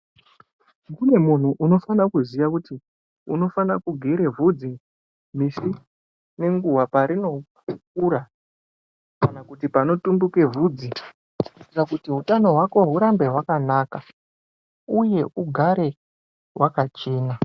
Kune muntu unofana kuziya kuti unofana kugere vhudzi misi nenguva painokura. Kana kuti panotumbuke vhudzi kuitira kuti utano hwako hurambe hwakanaka, uye ugare hwakachena.